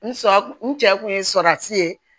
N sɔ n cɛ kun ye surafi ye